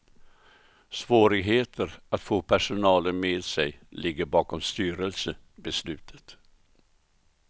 Svårigheter att få personalen med sig ligger bakom styrelsebeslutet.